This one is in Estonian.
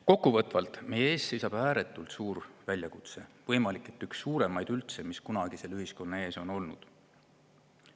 Kokkuvõtvalt: meie ees seisab ääretult suur väljakutse, võimalik, et üldse üks suuremaid, mis kunagi selle ühiskonna ees on olnud.